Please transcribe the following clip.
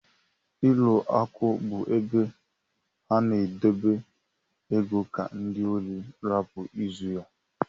Ụlọ akụ bú ebe a na edebe ego ka ndị órí rapu ịzụ ya.